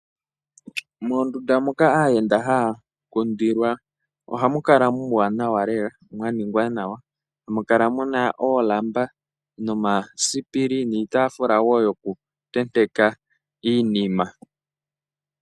Moondunda moka aayenda haya kundilwa ohamu kala muuwanawa lela mwa ningwa nawa. Ohamu kala mu na oolamba nomasipili niitaafula wo yokutenteka iinima.